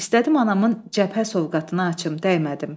İstədim anamın cəbhə sovqatını açım, dəymədim.